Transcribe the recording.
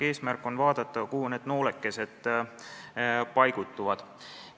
Eesmärk on vaadata, kuhu need noolekesed paigutuvad.